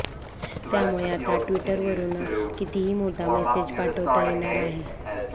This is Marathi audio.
त्यामुळे आता ट्विटरवरून कितीही मोठा मेसेज पाठवता येणार आहे